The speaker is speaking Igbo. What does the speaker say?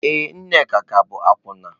Ee, Nneka ka bụ akwụna.